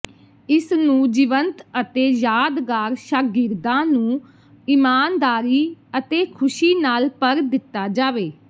ਇਸ ਨੂੰ ਜੀਵੰਤ ਅਤੇ ਯਾਦਗਾਰ ਸ਼ਾਗਿਰਦਾਂ ਨੂੰ ਇਮਾਨਦਾਰੀ ਅਤੇ ਖ਼ੁਸ਼ੀ ਨਾਲ ਭਰ ਦਿੱਤਾ ਜਾਵੇ